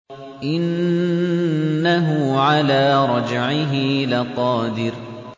إِنَّهُ عَلَىٰ رَجْعِهِ لَقَادِرٌ